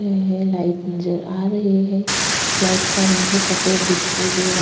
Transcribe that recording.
है लाइट नजर आ रही है लाइट का रंग सफेद दिखाई दे रहा --